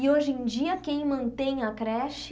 E hoje em dia, quem mantém a creche?